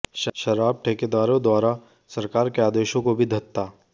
शराब ठेकेदारों द्वारा सरकार के आदेशों को भी धत्ता